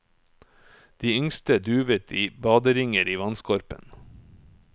De yngste duvet i baderinger i vannskorpen.